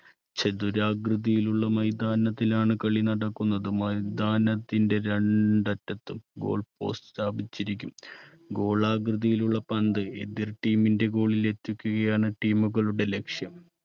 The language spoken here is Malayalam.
ചതുരാകൃതിയിലുള്ള മൈതാനത്തിലാണ് കളി നടക്കുന്നത് മൈതാനത്തിന്റെ രണ്ടറ്റത്തും goal post സ്ഥാപിച്ചിരിക്കും. ഗോളാകൃതിയിലുള്ള പന്ത് എതിർ team ൻറെ goal ലെത്തിക്കുകയാണ് team കളുടെ ലക്ഷ്യം